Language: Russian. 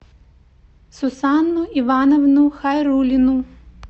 сусанну ивановну хайрулину